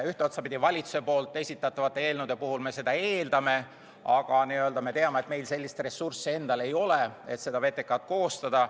Ühest küljest, valitsuse esitatavate eelnõude puhul me seda eeldame, aga me teame, et meil endal sellist ressurssi ei ole, et VTK-d koostada.